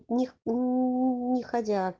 них не ходила